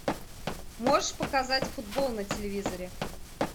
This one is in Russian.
можешь показать футбол на телевизоре